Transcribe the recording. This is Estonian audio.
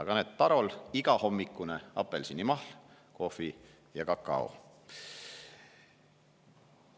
Aga näed, Tarol on igahommikune apelsinimahl, kohv ja kakao.